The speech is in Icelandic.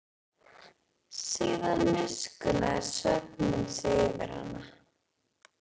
Síðan miskunnaði svefninn sig yfir hana.